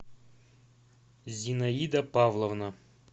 зинаида павловна